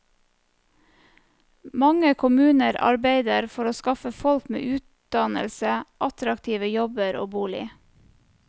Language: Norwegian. Mange kommuner arbeider for å skaffe folk med utdannelse attraktive jobber og bolig.